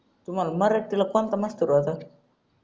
तुम्हाला मराठीला कोणता मास्तर होता